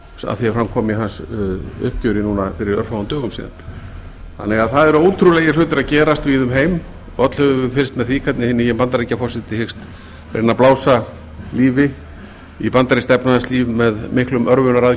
að því er fram kom í hans uppgjöri núna fyrir örfáum dögum síðan það eru því ótrúlegir hlutir að gerast víða um heim og öll höfum við fylgst með því hvernig hinn nýi bandaríkjaforseti hyggst reyna að blása lífi í bandarískt efnahagslíf með miklum